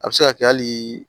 A bɛ se ka kɛ halii